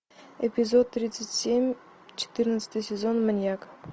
эпизод тридцать семь четырнадцатый сезон маньяк